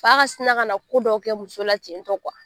Fa ka sina ka na ko dɔw kɛ muso la tentɔ